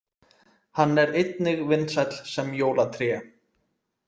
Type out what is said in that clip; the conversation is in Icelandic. Hann er einnig vinsæll sem jólatré.